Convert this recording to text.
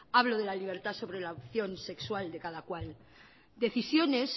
hablo de la libertad sobre la opción sexual de cada cual decisiones